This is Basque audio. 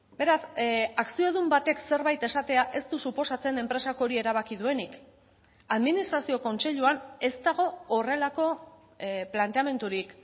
beraz akziodun batek zerbait esatea ez du suposatzen enpresak hori erabaki duenik administrazio kontseiluan ez dago horrelako planteamendurik